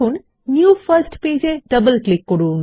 new first page এ double click করুন